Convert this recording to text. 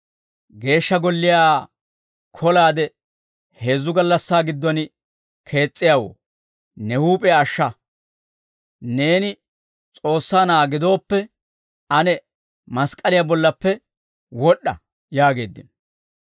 «Geeshsha Golliyaa kolaade heezzu gallassaa giddon kees's'iyaawoo, ne huup'iyaa ashsha; neeni S'oossaa Na'aa gidooppe, ane mask'k'aliyaa bollappe wod'd'a» yaageeddino.